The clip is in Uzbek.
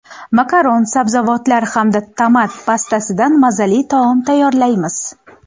Makaron, sabzavotlar hamda tomat pastasidan mazali taom tayyorlaymiz.